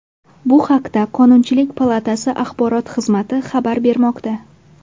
Bu haqda qonunchilik palatasi axborot xizmati xabar bermoqda.